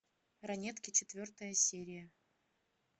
ранетки четвертая серия